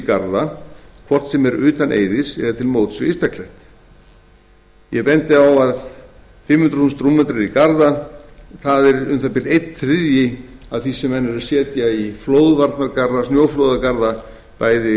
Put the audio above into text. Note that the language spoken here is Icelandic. garða hvort sem er utan eiðis eða til móts við ystaklett ég bendi á að fimm hundruð þúsund rúmmetrar í garða eru um það bil einn þriðji af því sem menn eru að setja í flóðvarnargarða snjóflóðagarða bæði á austfjörðum